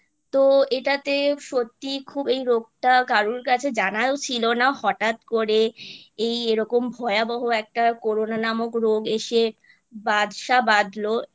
তো এটাতে সত্যিই খুব এই রোগটা কারোর কাছে জানাও ছিল না হঠাৎ করে এই এরকম ভয়াবহ একটা Corona নামক রোগ এসে বাসা বাঁধলো